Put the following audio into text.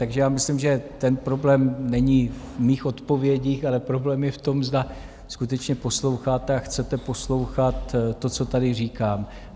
Takže já myslím, že ten problém není v mých odpovědích, ale problém je v tom, zda skutečně posloucháte a chcete poslouchat to, co tady říkám.